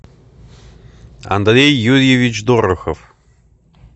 андрей юрьевич дорохов